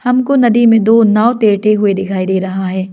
हमको नदी में दो नाव तैरते हुए दिखाई दे रहा है।